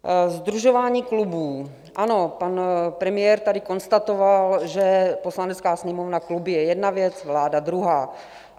Sdružování klubů - ano, pan premiér tady konstatoval, že Poslanecká sněmovna - kluby je jedna věc, vláda druhá.